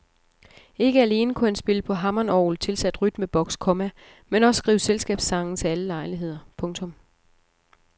Ikke alene kunne han spille på hammondorgel tilsat rytmebox, komma men også skrive selskabssange til alle lejligheder. punktum